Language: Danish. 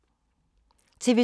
TV 2